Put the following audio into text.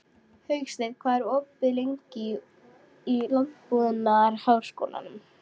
Hauksteinn, hvað er lengi opið í Landbúnaðarháskólanum?